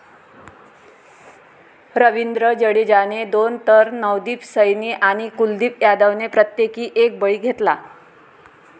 रविंद्र जडेजाने दोन तर नवदीप सैनी आणि कुलदीप यादवने प्रत्येकी एक बळी घेतला.